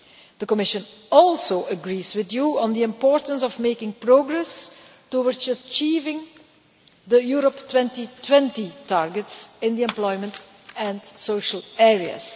The Commission also agrees with you on the importance of making progress towards achieving the Europe 2020 targets in the employment and social areas.